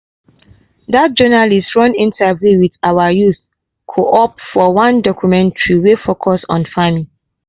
that journalist run interview with our youth co-op for one documentary wey focus on farming.